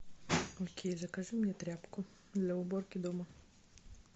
окей закажи мне тряпку для уборки дома